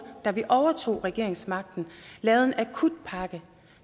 da vi overtog regeringsmagten lavet en akutpakke